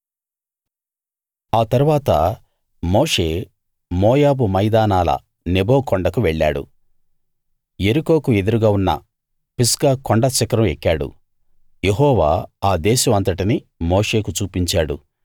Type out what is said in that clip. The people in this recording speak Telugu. ఆ తరువాత మోషే మోయాబు మైదానాల నెబో కొండకు వెళ్ళాడు యెరికోకు ఎదురుగా ఉన్న పిస్గా కొండ శిఖరం ఎక్కాడు యెహోవా ఆ దేశం అంతటినీ మోషేకు చూపించాడు